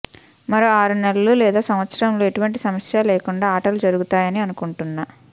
మరో ఆరు నెలలు లేదా సంవత్సరంలో ఎటువంటి సమస్య లేకుండా ఆటలు జరుగుతాయని అనుకుంటున్నా